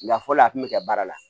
Na fɔlɔ a kun bɛ kɛ baara la